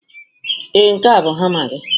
Ee, nke a bụ hamma gị.